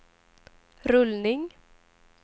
rullning